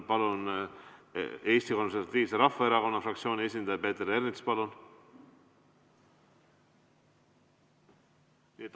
Eesti Konservatiivse Erakonna esindaja Peeter Ernits, palun!